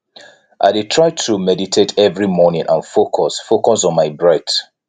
i dey try to meditate every morning and focus focus on my breath